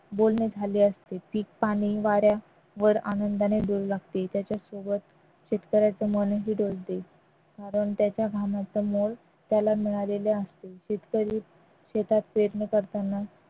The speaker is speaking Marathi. बोलणे झाले असते पीक पाणी वारा वर आनंदाने डोलू लागते त्याच्यासोबत शेतकऱ्याचे मन हुरवते कारण त्याच्या समोर त्याला मिळालेले असते शेतकरी शेतात पेरणी करताना